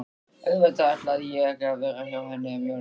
Auðvitað ætlaði ég að vera hjá henni um jólin.